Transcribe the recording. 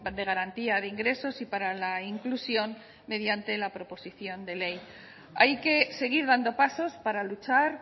de garantía de ingresos y para la inclusión mediante la proposición de ley hay que seguir dando pasos para luchar